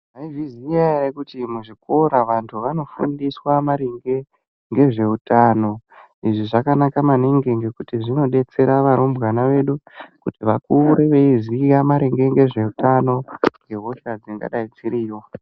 Maizviziya ere kuti muzvikora vantu vanofundiswa maringe ngezveutano, izvi zvakanaka maningi ngekuti zvinodetsera varumbwana vedu kuti vakure veiziya maringe ngezveutano nehosha dzingadai dziriyo.